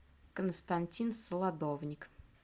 константин солодовник